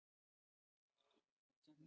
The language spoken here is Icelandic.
Úlfa, hvernig kemst ég þangað?